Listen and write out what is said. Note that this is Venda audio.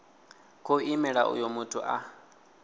khou imela uyo muthu a